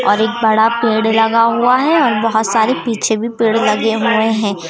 और एक बड़ा पेड़ लगा हुआ है और बहोत सारे पीछे भी पेड़ लगे हुए हैं।